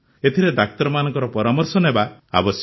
ଏଥିରେ ଡାକ୍ତରମାନଙ୍କ ପରାମର୍ଶ ନେବା ଆବଶ୍ୟକ